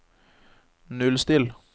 nullstill